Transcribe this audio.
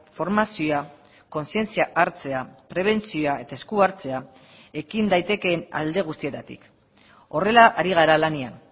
formazioa kontzientzia hartzea prebentzioa eta esku hartzea ekin daitekeen alde guztietatik horrela ari gara lanean